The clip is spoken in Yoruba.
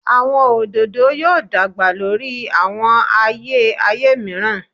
Awọn ododo yoo dagba lori awọn aye aye miiran